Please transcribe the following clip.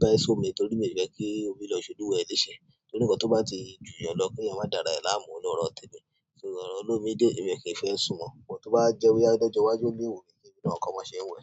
bẹ́ sómi torí mi ò fẹ́ kí omi lọ ṣe Olúwa ẹ̀ lése. Torí ǹkan tó bá ti ju yàn lọ kí ẹ̀yàn má dára ẹ̀ láàmú lọ̀rọ̀ tèmi. So ọ̀rọ̀ olómi dé yí èmi ò kí ń fẹ́ sún mọ. But tó bá jẹ́ bóyá lọ́jọ́ iwájú mo le kọ́ bí wọ́n ṣe ń wẹ̀.